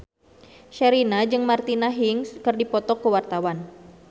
Sherina jeung Martina Hingis keur dipoto ku wartawan